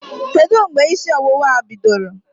Kedụ mgbe ísí ọwụwạ a bidoro?